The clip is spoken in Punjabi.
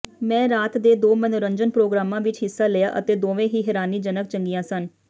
ਮੈਂ ਰਾਤ ਦੇ ਦੋ ਮਨੋਰੰਜਨ ਪ੍ਰੋਗਰਾਮਾਂ ਵਿਚ ਹਿੱਸਾ ਲਿਆ ਅਤੇ ਦੋਵੇਂ ਹੀ ਹੈਰਾਨੀਜਨਕ ਚੰਗੀਆਂ ਸਨ